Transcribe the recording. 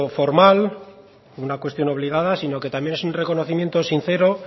formal o una cuestión obligada sino que también es reconocimiento sincero